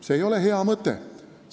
See ei ole hea mõte!